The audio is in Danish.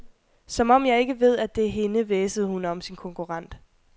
Som om jeg ikke ved, at det er hende, hvæsede hun om sin konkurrent.